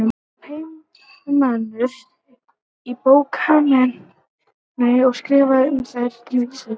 Hann var heimamaður í bókmenntum og skrifaði um þær í Vísi.